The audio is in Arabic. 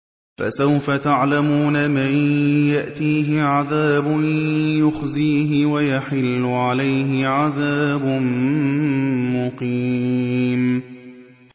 فَسَوْفَ تَعْلَمُونَ مَن يَأْتِيهِ عَذَابٌ يُخْزِيهِ وَيَحِلُّ عَلَيْهِ عَذَابٌ مُّقِيمٌ